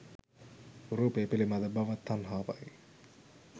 රූපය පිළිබඳ භව තණ්හාවයි.